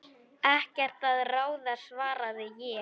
Ekkert að ráði svaraði ég.